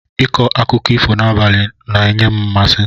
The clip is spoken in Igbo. Ịkọ akụkọ ifo n'abalị ns-enye m mmasị.